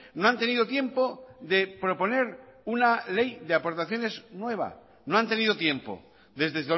no han tenido tiempo de proponer una ley de aportaciones nueva no han tenido tiempo desde